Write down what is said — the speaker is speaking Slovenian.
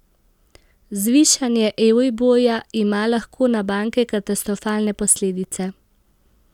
Zvišanje euriborja ima lahko na banke katastrofalne posledice.